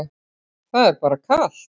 Það er bara kalt.